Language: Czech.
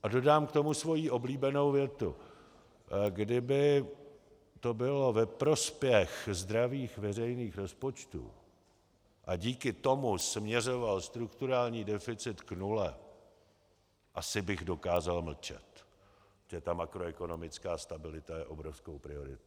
A dodám k tomu svoji oblíbenou větu: Kdyby to bylo ve prospěch zdravých veřejných rozpočtů a díky tomu směřoval strukturální deficit k nule, asi bych dokázal mlčet, protože ta makroekonomická stabilita je obrovskou prioritou.